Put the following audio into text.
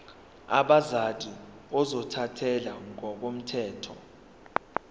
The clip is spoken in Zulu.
abazali ozothathele ngokomthetho